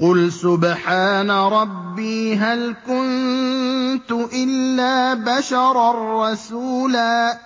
قُلْ سُبْحَانَ رَبِّي هَلْ كُنتُ إِلَّا بَشَرًا رَّسُولًا